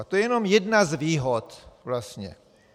A to je jenom jedna z výhod vlastně.